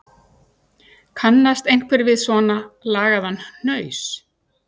Kannast einhver við svona lagaðan hnaus